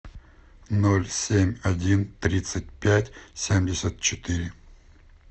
ноль семь один тридцать пять семьдесят четыре